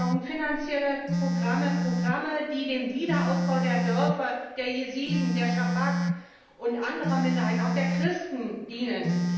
Wir brauchen finanzielle Programme, Programme, die dem Wiederaufbau der Dörfer der Jesiden, der Schabak und anderer Minderheiten, auch der Christen, dienen.